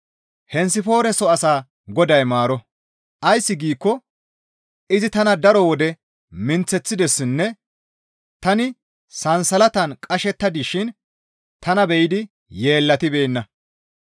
Henesifoore soo asaa Goday maaro; ays giikko izi tana daro wode minththeththidessinne tani sansalatan qashetta dishin tana be7idi yeellatibeenna.